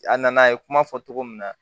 A nana a ye kuma fɔ cogo min na